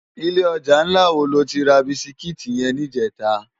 Ilè òjá nlá wó ló ti rá bisikiti yèn nijètá?